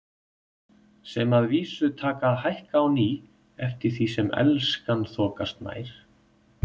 Sem að vísu taka að hækka á ný eftir því sem Elskan þokast nær.